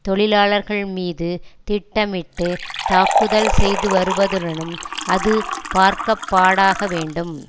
தொழிலாளர்கள் மீது திட்டமிட்டு தாக்குதல் செய்துவருவதுடனும் அது பார்க்கப்படாக வேண்டும்